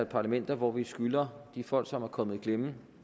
par elementer hvor vi skylder de folk som er kommet i klemme